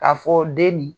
K'a fɔ den nin